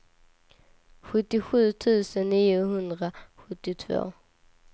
sjuttiosju tusen niohundrasjuttiotvå